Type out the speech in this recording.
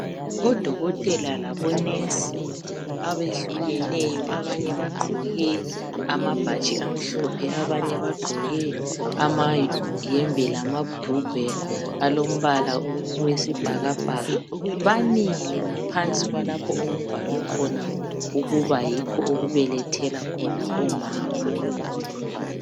odokotela labo nurse abehlukeneyo abanye bagqoke amabhatshi amahlophe abanye bagqoke amayembe lamabhurugwa alombala owesibhakabhaka bamile ngaphansi kwalapho okubhalwe khona ukuba yikho okubelethela khona omama